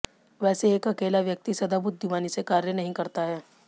वैसे एक अकेला व्यक्ति सदा बुद्धिमानी से कार्य नहीं करता है